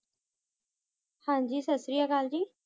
हांजी ससरिया कल जी